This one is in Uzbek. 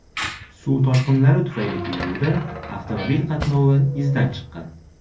Suv toshqinlari tufayli Peruda avtomobil qatnovi izdan chiqqan.